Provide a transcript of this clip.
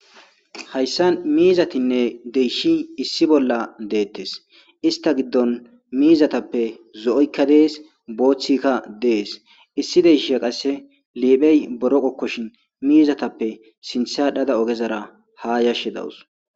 hayssan miizatinne deyshi issi bolla deettes ista giddon miizatappe zo7oykka dees booththikka dees issi deysha qasse liiphey boro qokkoshin miizatappe sinthadhada ogezara ha yashshi dawus